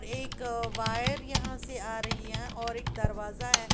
एक वायर यहां से आ रही है और एक दरवाजा है।